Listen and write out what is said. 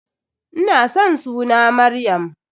Ina san suna Maryam.